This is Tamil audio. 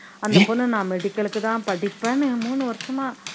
அந்த பொண்ணு நான் medical க்கு தான் படிப்பேன்னு மூணு வருஷமா